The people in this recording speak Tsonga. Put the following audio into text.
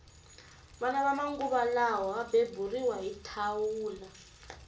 vana va manguva lawa va beburiwa hi thawula